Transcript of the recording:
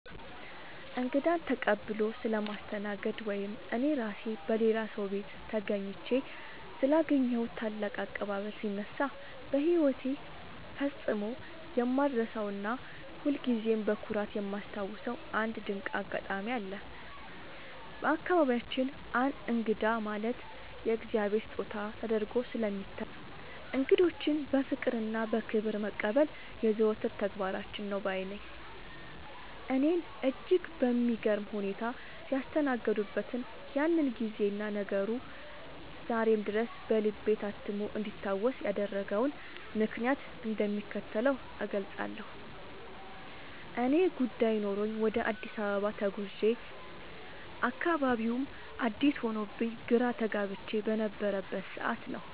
እንግዳን ተቀብሎ ስለማስተናገድ ወይም እኔ ራሴ በሌላ ሰው ቤት ተገኝቼ ስላገኘሁት ታላቅ አቀባበል ሲነሳ፣ በሕይወቴ ፈጽሞ የማልረሳውና ሁልጊዜም በኩራት የማስታውሰው አንድ ድንቅ አጋጣሚ አለ። በአካባቢያችን እንግዳ ማለት የእግዚአብሔር ስጦታ ተደርጎ ስለሚታይ፣ እንግዶችን በፍቅርና በክብር መቀበል የዘወትር ተግባራችን ነው ባይ ነኝ። እኔን እጅግ በሚገርም ሁኔታ ያስተናገዱበትን ያንን ጊዜና ነገሩ ዛሬም ድረስ በልቤ ታትሞ እንዲታወስ ያደረገውን ምክንያት እንደሚከተለው እገልጻለሁ፦ ያኔ ጉዳይ ኖሮኝ ወደ አዲስ አበባ ከተማ ተጉዤ፣ አካባቢውም አዲስ ሆኖብኝ ግራ ተጋብቼ በነበረበት ሰዓት ነው፤